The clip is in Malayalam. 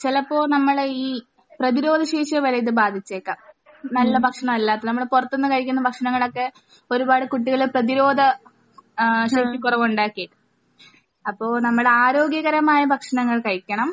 ചിലപ്പോൾ നമ്മൾ ഈ പ്രതിരോധശേഷിയെ വരെ ഇത് ബാധിച്ചേൽക്കാം. നല്ല ഭക്ഷണം അല്ലാത്തത്. നമ്മൾ പുറത്തു നിന്ന് കഴിക്കുന്ന ഭക്ഷണങ്ങളൊക്കെ ഒരുപാട് കുട്ടികളെ പ്രധിരോധ ഏഹ് ശേഷിക്കുറവ് ഉണ്ടാക്കി. അപ്പോൾ നമ്മൾ ആരോഗ്യകരമായ ഭക്ഷണങ്ങൾ കഴിക്കണം.